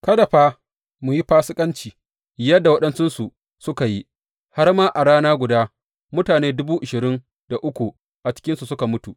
Kada fa mu yi fasikanci yadda waɗansunsu suka yi, har a rana guda mutane dubu ashirin da uku a cikinsu suka mutu.